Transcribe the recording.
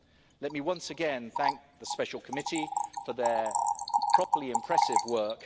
term. Let me once again thank the Special Committee for its properly impressive